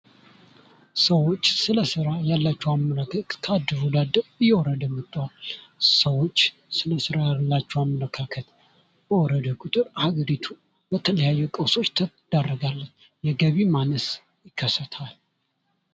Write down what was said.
ሰዎች ስለ ስራ ያላቸው አመለካከት ከአንድም ወደ አንድ እየወረደ መጥቷል። ሰዎች ስለ ስራ ያላቸው አመለካከት እየወረደ በመጣ ቁጥር ሀገሪቱ ለተለያዩ ቀውሶች ትዳረጋለች። የገቢ ማነስ ይከሰታል።